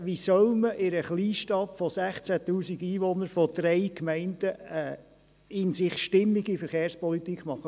Wie soll man in einer Kleinstadt mit 16 000 Einwohnern von drei Gemeinden eine in sich stimmige Verkehrspolitik machen?